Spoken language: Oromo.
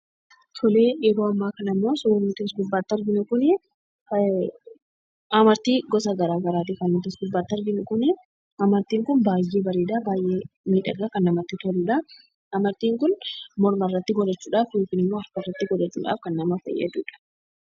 Yeroo ammaa kana immoo suurri nuti as gubbaatti arginu Kunii, amartii gosa garaagaraa kan nuti as gubbaatti arginu kunii, amartiin Kun baayyee bareeda, baayyee miidhagaa kan namatti toludhaa. Amartiin Kun morma irratti godhachuudhaaf yookiin immoo harka irratti godhachuudhaaf kan nama fayyadudha.